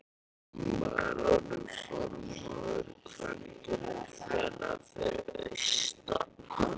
Amma er orðin formaður kvenfélagsins fyrir austan.